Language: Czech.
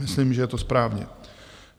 Myslím, že to je správně.